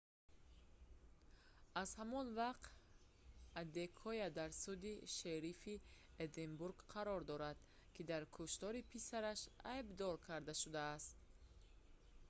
аз ҳамон вақт адекоя дар суди шерифи эдинбург қарор дорад ки дар куштори писараш айдбдор карда шудааст